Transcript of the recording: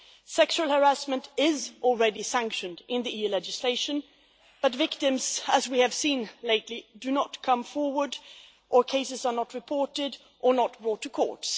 Sexual harassment is already sanctioned in EU legislation, but victims as we have seen lately do not come forward or cases are not reported or not brought to court.